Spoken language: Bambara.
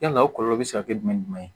Yala o kɔlɔlɔ be se ka kɛ jumɛn ye